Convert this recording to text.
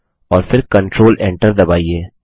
और फिर control Enter दबाइए